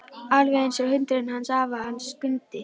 Alveg einsog hundurinn hans afa, hann Skundi.